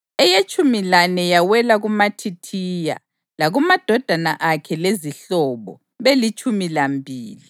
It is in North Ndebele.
eyetshumi lane yawela kuMathithiya, lakumadodana akhe lezihlobo, belitshumi lambili;